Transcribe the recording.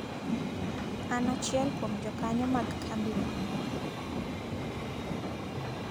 An achiel kuom jokanyo mag kambino.